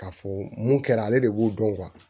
K'a fɔ mun kɛra ale de b'o dɔn